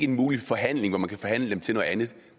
en mulig forhandling hvor man kan forhandle sig til noget andet